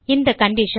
இந்த கண்டிஷன்